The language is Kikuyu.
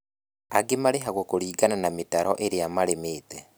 Angĩ marĩhagwo kũringana na mĩtaro ĩrĩa marĩmĩte